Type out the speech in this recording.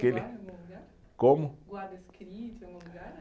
Como? Guarda escrito em algum lugar, é?